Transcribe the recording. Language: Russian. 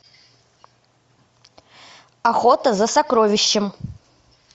охота за сокровищем